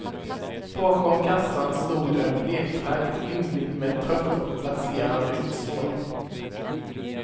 Bakom kassan stod en bleklagd yngling med trött och blaserad utstrålning.